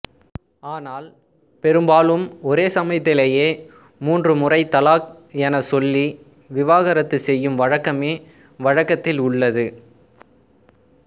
ஆனால் பெரும்பாலும் ஒரே சமயத்திலேயே மூன்று முறை தலாக் எனச் சொல்லி விவாகரத்து செய்யும் வழக்கமே வழக்கத்தில் உள்ளது